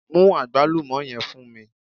Mú àgbálùmó yẹn fún mi